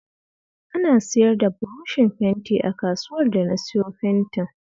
Ana siyar da burushin fenti a kasuwar da na siyo fentin